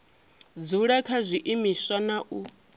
dzula kha zwiimiswa na u